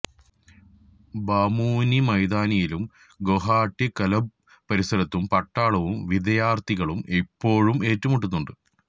ബാമുനി മൈതാനിയിലും ഗോഹട്ടി കല്ബ്ബ് പരിസരത്തും പട്ടാളവും വിദയാര്ഥികളും ഇപ്പോഴും ഏറ്റുമുട്ടുന്നുണ്ട്